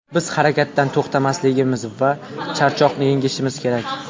Biz harakatdan to‘xtamasligimiz va charchoqni yengishimiz kerak.